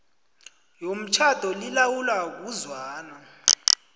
yomtjhado lilawulwa ngokuzwana